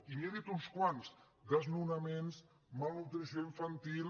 i n’hi he dit uns quants desnonaments malnutrició infantil